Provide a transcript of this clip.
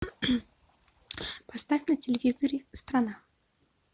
поставь на телевизоре страна